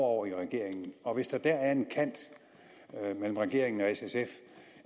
over i regeringen og hvis der er en kant der mellem regeringen og s sf